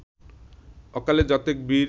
অকালে যতেক বীর